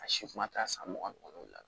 A si kuma ta san mugan ni wɔɔrɔ la